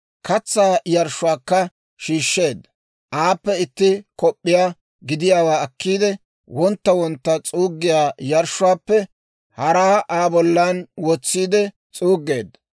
Katsaa yarshshuwaakka shiishsheedda; aappe itti kop'p'iyaa gidiyaawaa akkiide, wontta wontta s'uuggiyaa yarshshuwaappe haraa Aa bollan wotsiide s'uuggeedda.